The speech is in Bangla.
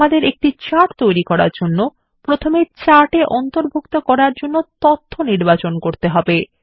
আমাদের একটি চার্ট তৈরি করার জন্য প্রথমে চাটে অন্তর্ভুক্ত করার জন্য তথ্য নির্বাচন করতে হবে